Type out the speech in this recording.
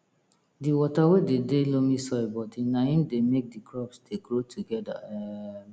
di water wey dey de loamy soil bodi na im dey make di crops dey grow togeda um